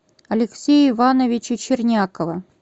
алексея ивановича чернякова